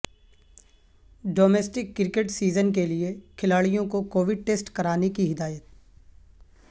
domestic cricket season کیلئے کھلاڑیوں کو کووڈ ٹیسٹ کرانے کی ہدایت